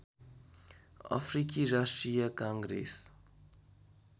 अफ्रिकी राष्ट्रिय काङ्ग्रेस